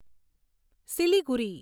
Siliguri